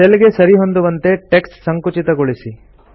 cell ಗೆ ಸರಿಹೊಂದುವಂತೆ text ಸಂಕುಚಿತಗೊಳಿಸಿ